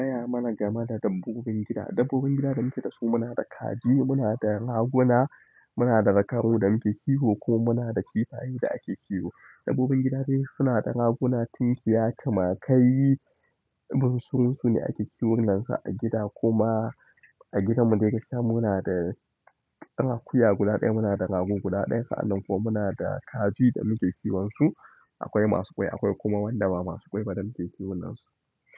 Ki gaya mana game da dabbobin gida. Dabbobin gida da muke da su muna da kaji, muna da raguna, muna da zakaru da muke kiwo ko muna da kifaye da ake kiwo. Dabbobin gida dai suna da raguna, tinkiya, tamakai, bursurunsune ake kiwon nansu a gida kuma a gidanmu dai gaskiya muna da ɗan akuya guda ɗaya, muna da rago guda ɗaya sa'annan kuma muna da kaji da muke kiwon su. Akwai masu ƙwai akwai kuma wanda ba masu ƙwai ba da muke kiwon nansu.